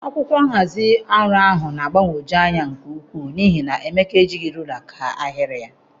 Akwụkwọ nhazi ọrụ ahụ na-agbagwoju anya nke ukwuu n'ihi na Emeka ejighi rula kaa ahịrị ya.